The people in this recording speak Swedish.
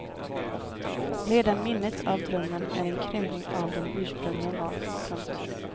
Redan minnet av drömmen är en krympning av vad den ursprungligen var. punkt